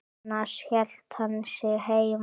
Annars hélt hann sig heima.